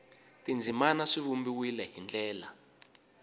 tindzimana swi vumbiwile hi ndlela